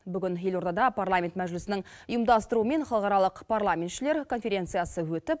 бүгін елордада парламент мәжілісінің ұйымдастыруымен халықаралық парламентшілер конференциясы өтіп